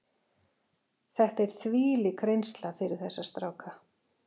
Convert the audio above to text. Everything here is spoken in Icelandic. Þetta er þvílík reynsla fyrir þessa stráka.